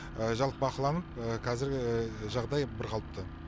жалпы бақыланып қазіргі жағдай бірқалыпты